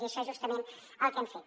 i això és justament el que hem fet